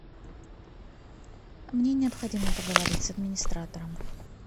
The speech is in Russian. мне необходимо поговорить с администратором